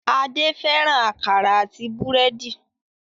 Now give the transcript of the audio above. Adé fẹ́ràn àkàrà àti búrẹ́dì.